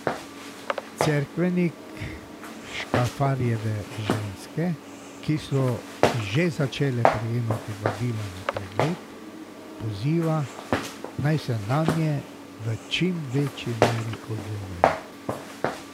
Cerkvenik Škafarjeva ženske, ki so že začele prejemati vabila na pregled, poziva, naj se nanje v čim večji meri odzovejo.